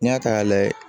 N'i y'a ta k'a lajɛ